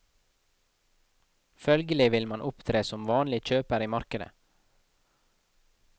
Følgelig vil man opptre som vanlig kjøper i markedet.